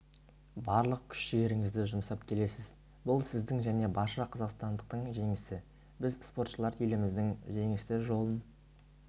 барлық күш-жігеріңізді жұмсап келесіз бұл сіздің және барша қазақстандықтың жеңісі біз спортшылар еліміздің жеңісті жолын